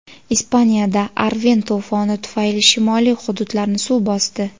Ispaniyada "Arven" to‘foni tufayli shimoliy hududlarni suv bosdi.